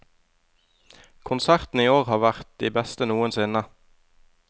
Konsertene i år har vært de beste noensinne.